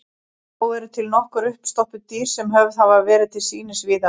Þó eru til nokkur uppstoppuð dýr sem höfð hafa verið til sýnis víða um land.